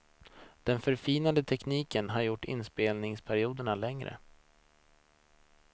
Den förfinade tekniken har gjort inspelningsperioderna längre.